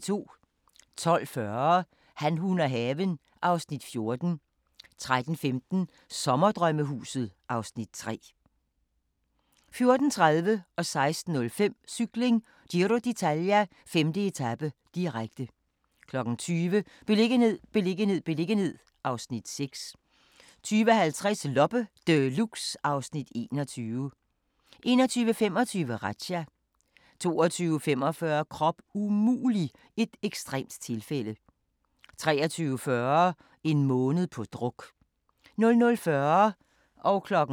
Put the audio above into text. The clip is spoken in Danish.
12:40: Han, hun og haven (Afs. 14) 13:15: Sommerdrømmehuset (Afs. 3) 14:30: Cykling: Giro d'Italia - 5. etape, direkte 16:05: Cykling: Giro d'Italia - 5. etape, direkte 20:00: Beliggenhed, beliggenhed, beliggenhed (Afs. 6) 20:50: Loppe Deluxe (Afs. 21) 21:25: Razzia 22:45: Krop umulig – et ekstremt tilfælde 23:40: En måned på druk 00:40: Grænsepatruljen